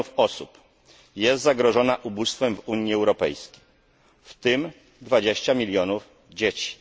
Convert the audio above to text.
milionów osób jest zagrożonych ubóstwem w Unii Europejskiej, w tym 20 milionów dzieci.